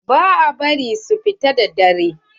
Ba a bari su fita da dare.